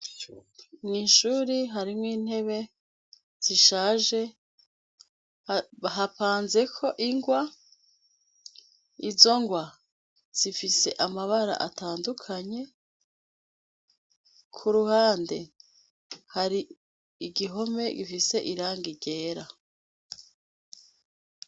Mw'ishuri harimwo intebe zishaje, hapanzeko ingwa; izo ngwa zifise amabara atandukanye, ku ruhande hari igihome gifise irangi ryera.